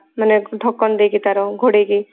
ମାନେ ଢକନ୍ ଦେଇକି ତାର ଘୋଡେଇକି